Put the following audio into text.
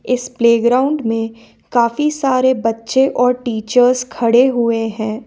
इस प्लेग्राउंड में काफी सारे बच्चे और टीचर्स खड़े हुए हैं।